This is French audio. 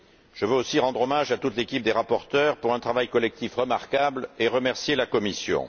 Je veux aussi rendre hommage à toute l'équipe des rapporteurs pour un travail collectif remarquable, et remercier la Commission.